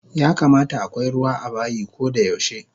Yakamata akwai ruwa abayi kodayaushe